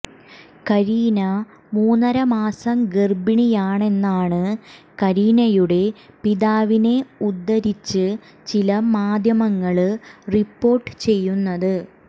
കരീന മൂന്നര മാസം ഗര്ഭിണിയാണെന്നാണ് കരീനയുടെ പിതാവിനെ ഉദ്ധരിച്ച് ചില മാധ്യമങ്ങള് റിപ്പോര്ട്ട് ചെയ്യുന്നത്